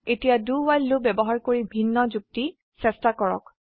এতিয়া do while loop ব্যবহাৰ কৰি ভিন্ন যুক্তি চেষ্টা কৰক